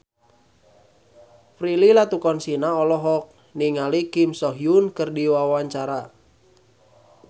Prilly Latuconsina olohok ningali Kim So Hyun keur diwawancara